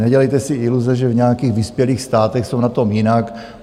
Nedělejte si iluze, že v nějakých vyspělých státech jsou na tom jinak.